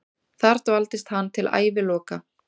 Þar dvaldist hann til æviloka.